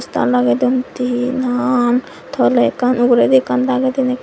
poster lagedon tinan toley ekkan uguredi ekkan dagedin ekkan.